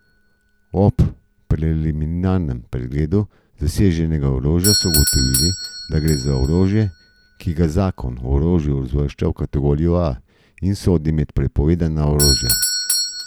Ob preliminarnem pregledu zaseženega orožja so ugotovili, da gre za orožje, ki ga zakon o orožju uvršča v kategorijo A in sodi med prepovedano orožje.